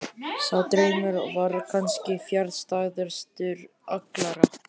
Sá draumur var kannski fjarstæðastur allra.